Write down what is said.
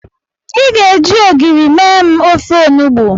I ga-eji ogiri mee m ofe onugbo.